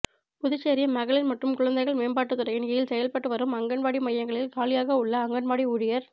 புதுச்சேரி மகளிர் மற்றும் குழந்தைகள் மேம்பாட்டுத்துறையின் கீழ் செயல்பட்டு வரும் அங்கன்வாடி மையங்களில் காலியாக உள்ள அங்கன்வாடி ஊழியர்